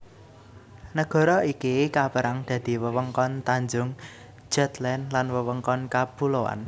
Nagara iki kapérang dadi wewengkon tanjung Jutland lan wewengkon kapuloan